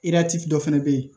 dɔ fɛnɛ be yen